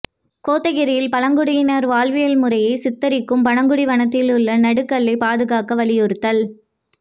கோத்தகிரியில் பழங்குடியினர் வாழ்வியல் முறையை சித்தரிக்கும் பனகுடி வனத்தில் உள்ள நடுகல்லை பாதுகாக்க வலியுறுத்தல்